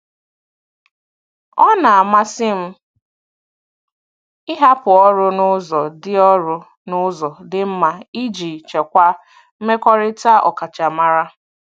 Ọ na-amasị m ịhapụ ọrụ n'ụzọ dị ọrụ n'ụzọ dị mma iji chekwaa mmekọrịta ọkachamara.